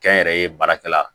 Kɛnyɛrɛye baarakɛla